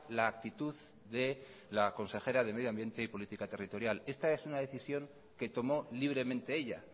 la actitud de la consejera de medio ambiente y política territorial esta es una decisión que tomó libremente ella